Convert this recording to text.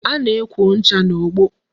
A na-ekwo ncha n'ogbo